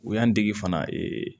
U y'an dege fana